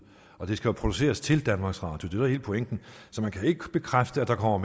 og de skal jo produceres til danmarks radio det er hele pointen så jeg kan ikke bekræfte at der kommer